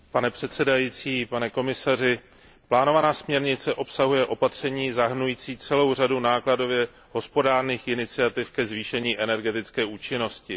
Pane předsedající, pane komisaři, plánovaná směrnice obsahuje opatření zahrnující celou řadu nákladově hospodárných iniciativ ke zvýšení energetické účinnosti.